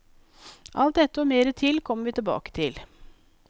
Alt dette og mer til kommer vi tilbake til.